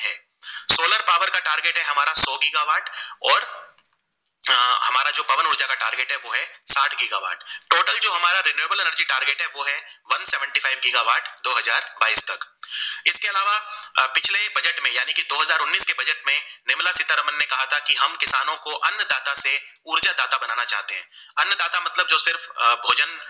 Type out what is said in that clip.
सिर्फ अ भोजन